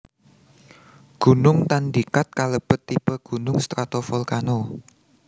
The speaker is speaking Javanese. Gunung Tandikat kalebet tipe gunung stratovolcano